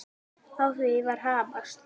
Á því var hamast.